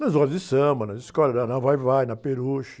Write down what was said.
Nas rodas de samba, nas escolas, né? Na Vai-vai, na Peruche.